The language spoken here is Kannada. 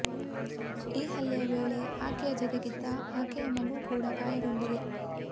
ಈ ಹಲ್ಲೆಯ ವೇಳೆ ಆಕೆಯ ಜತೆಗಿದ್ದ ಆಕೆಯ ಮಗು ಕೂಡ ಗಾಯಗೊಂಡಿದೆ